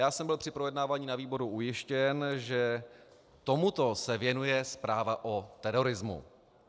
Já jsem byl při projednávání na výboru ujištěn, že tomuto se věnuje zpráva o terorismu.